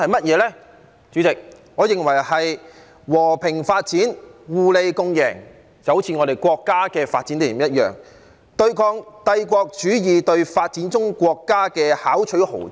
代理主席，我認為是和平發展、互利共贏，就好像我們國家的發展理念一樣，對抗帝國主義對發展中國家的巧取豪奪。